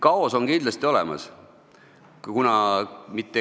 Kaos on kindlasti olemas.